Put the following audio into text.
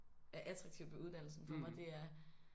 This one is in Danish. Er attraktivt ved uddannelsen for mig det er